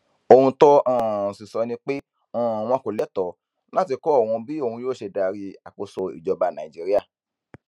ohun tó um sì sọ ni pé um wọn kò lẹ́tọ̀ọ́ láti kọ òun bí òun yóò ṣe darí àkóso ìjọba nàìjíríà